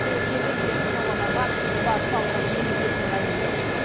осы елден келетін тауарларға баж салығын енгізетінін мәлімдеген